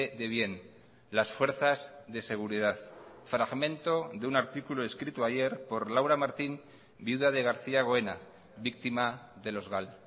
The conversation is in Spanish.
de bien las fuerzas de seguridad fragmento de un artículo escrito ayer por laura martín viuda de garcía goena víctima de los gal